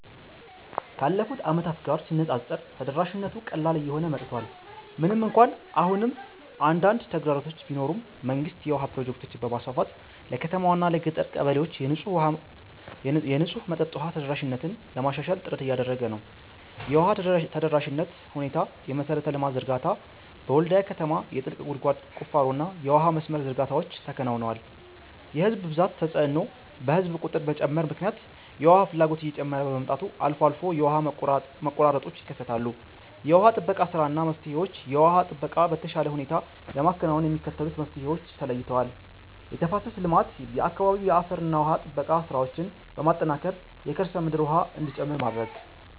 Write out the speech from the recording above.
ካለፉት ዓመታት ጋር ሲነፃፀር ተደራሽነቱ ቀላል እየሆነ መጥቷል። ምንም እንኳን አሁንም አንዳንድ ተግዳሮቶች ቢኖሩም፣ መንግስት የውሃ ፕሮጀክቶችን በማስፋፋት ለከተማዋና ለገጠር ቀበሌዎች የንጹህ መጠጥ ውሃ ተደራሽነትን ለማሻሻል ጥረት እያደረገ ነው። የውሃ ተደራሽነት ሁኔታየመሠረተ ልማት ዝርጋታ፦ በወልድያ ከተማ የጥልቅ ጉድጓድ ቁፋሮና የውሃ መስመር ዝርጋታዎች ተከናውነዋል። የሕዝብ ብዛት ተጽዕኖ፦ በሕዝብ ቁጥር መጨመር ምክንያት የውሃ ፍላጎት እየጨመረ በመምጣቱ አልፎ አልፎ የውሃ መቆራረጦች ይከሰታሉ። የውሃ ጥበቃ ሥራና መፍትሄዎች የውሃ ጥበቃን በተሻለ ሁኔታ ለማከናወን የሚከተሉት መፍትሄዎች ተለይተዋል፦ የተፋሰስ ልማት፦ በአካባቢው የአፈርና ውሃ ጥበቃ ሥራዎችን በማጠናከር የከርሰ ምድር ውሃ እንዲጨምር ማድረግ።